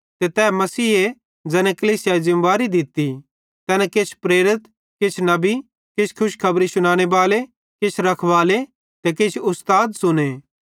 ते तै मसीहे ज़ैने कलीसियाई ज़िमेबारी दित्ती तैने किछ प्रेरित किछ नबी किछ खुशखबरी शुनाने बाले किछ रखवाले ते किछ उस्ताद च़ुने